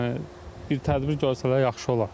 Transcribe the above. Yəni bir tədbir görsələr yaxşı olar.